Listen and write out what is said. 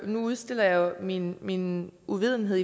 nu udstiller jeg jo min min uvidenhed